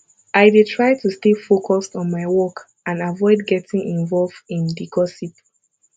i dey try to stay focused on my work and avoid getting involve in di gossip